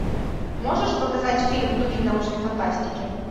можешь показать фильм в духе научной фантастики